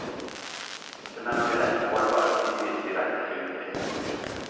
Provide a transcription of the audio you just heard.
Den er nemlig lett målbar, og tidvis direkte synlig.